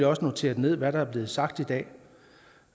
også noteret ned hvad der er blevet sagt i dag